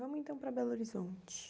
Vamos então para Belo Horizonte.